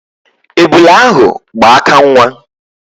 Ebula ahụ gba aka nwa.